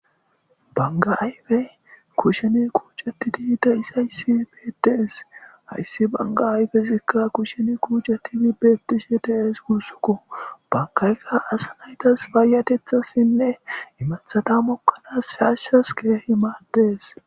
Banga ayfeyi kusheni kucetidi de'izaysi betesi, haysi banga ayfezika kusheni kucetidi beetishe de'es guusuko, bangayka asa naytasi payatethasinne imathata mokanasi shaashasi Keehi madesi.